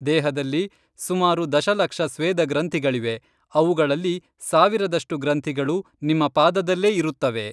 ದೇಹದಲ್ಲಿ ಸುಮಾರು ದಶಲಕ್ಷ ಸ್ವೇದ ಗ್ರಂಥಿಗಳಿವೆ ಅವುಗಳಲ್ಲಿ ಸಾವಿರದಷ್ಟು ಗ್ರಂಥಿಗಳು ನಿಮ್ಮ ಪಾದದಲ್ಲೇ ಇರುತ್ತವೆ